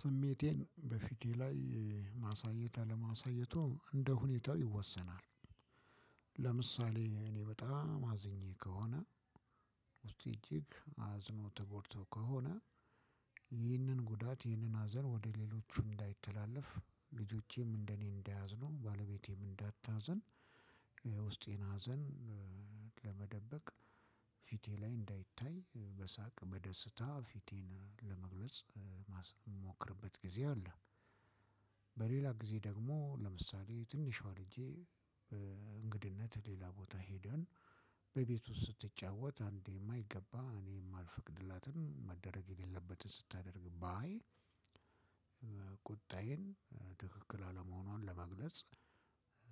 ስሜቴን በፊቴ ላይ ማሳየት አላማሳየቱ እንደ ሁኔታው ይወሰናል። ለምሳሌ እኔ በጣም አዝኜ ከሆነ ውስጤ እጅግ አዝኖ ተጎድቶ ከሆነ። ይህንን ጉዳት ይህንን አዘን ወደ ሌሎቹ እንዳይተላለፍ ልጆቼም እንደኔ እንዳያዝኑ ባለቤቴም እንዳታዘን። ውስጤን ሀዘን ለመደበቅ ፊቴ ላይ እንዳይታይ በሳቅ በደስታ ፊቴን ለመግለጽ እማስ እምሞክርበት ጊዜ አለ። በሌላ ጊዜ ደግሞ ለምሳሌ ትንሿ ልጄ። ሌላ ቦታ ሄደን በቤቱ ስትጫወት አንዴ የማይገባ እኔም ማልፈቅድላትን መደረግ የሌለበትን ስታደርግ ባይ። ቁጣዬን ትክክል አለመሆኗን ለመግለጽ